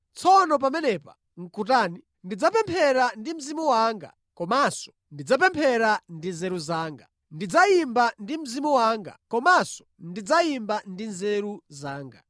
Tsono pamenepa nʼkutani? Ndidzapemphera ndi mzimu wanga, komanso ndidzapemphera ndi nzeru zanga. Ndidzayimba ndi mzimu wanga, komanso ndidzayimba ndi nzeru zanga.